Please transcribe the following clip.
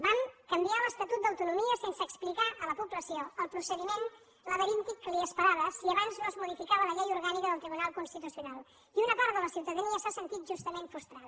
vam canviar l’estatut d’autonomia sense explicar a la població el procediment laberíntic que li esperava si abans no es modificava la llei orgànica del tribunal constitucional i una part de la ciutadania s’ha sentit justament frustrada